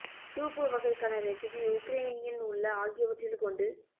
soup வகை க்கான recipe Ukrainian உள்ள ஆகியவற்றில் கொண்டு